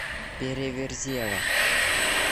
переверзева